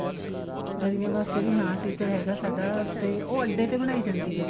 ਦਰੀਆਂ ਵਾਸਤੇ ਵੀ ਹਾਂ teacher ਹੈਗਾ ਸਾਡਾ ਤੇ ਉਹ ਅੱਡੇ ਤੇ ਬਣਾਈ ਜਾਂਦੀ ਆ